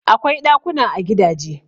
Akwai ɗakuna a gidaje.